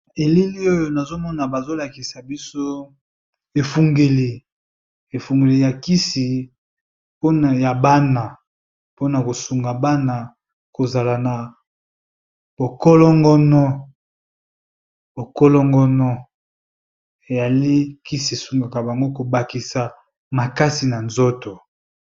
Elili oyo nazomona bazolakisa biso kisi ya bana pona kosunga bana kozala nzoto kolongono.